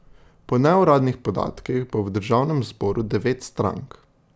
Po neuradnih podatkih bo v državnem zboru devet strank.